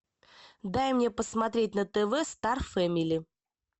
дай мне посмотреть на тв стар фэмили